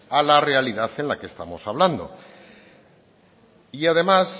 a la realidad que estamos hablando y además